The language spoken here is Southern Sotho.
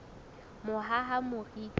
mohahamoriti